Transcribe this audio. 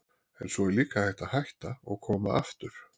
En svo er líka hægt að hætta og koma aftur.